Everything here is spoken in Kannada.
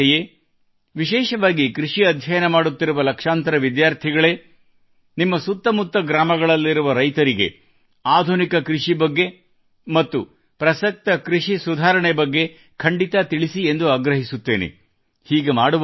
ನನ್ನ ಯುವಜನತೆಯೇ ವಿಶೇಷವಾಗಿ ಕೃಷಿ ಅಧ್ಯಯನ ಮಾಡುತ್ತಿರುವ ಲಕ್ಷಾಂತರ ವಿದ್ಯಾರ್ಥಿಗಳಿಗೆ ನಿಮ್ಮ ಸುತ್ತಮುತ್ತ ಗ್ರಾಮಗಳಲ್ಲಿರುವ ರೈತರಿಗೆ ಆಧುನಿಕ ಕೃಷಿ ಬಗ್ಗೆ ಮತ್ತು ಪ್ರಸಕ್ತ ಕೃಷಿ ಸುಧಾರಣೆ ಬಗ್ಗೆ ಖಂಡಿತ ತಿಳಿಸಿ ಎಂದು ಆಗ್ರಹಿಸುತ್ತೇನೆ